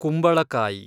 ಕುಂಬಳಕಾಯಿ